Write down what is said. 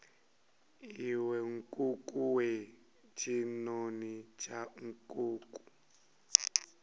iwe nkukuwe tshinoni tsha nkuku